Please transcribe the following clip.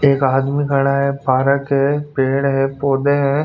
एक आदमी खड़ा है पारक है पेड़ है पौधे है.